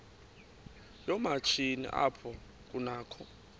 yoomatshini apho kunakho